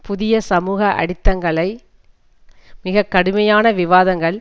புதிய சமூக அடித்தங்களை மிக கடுமையான விவாதங்கள்